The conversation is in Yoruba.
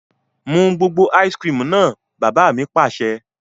Mu gbogbo "ice cream" náà! Bàbá mi Pàṣẹ.